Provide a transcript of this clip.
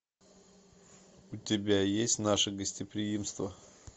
у тебя есть наше гостеприимство